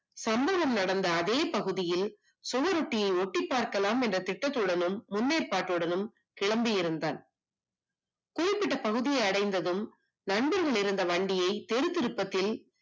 சம்பவம் நடந்த அதே பகுதியில் சுவரொட்டி ஒட்டிப் பார்க்கலாம் என்ற திட்டத்துடனும் முன்னேற்பட்டடனும் கிளம்பி இருந்தான் குறிப்பிட்ட பகுதியை அடைந்ததும் நின்றிருந்த வண்டியை தெரு திருப்பத்தில்